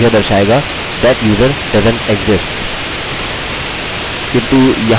किन्तु यहाँ यह दर्शा रहा है कि मेरा यूज़रनेम मौजूद है किन्तु मेरा पासवर्ड गलत है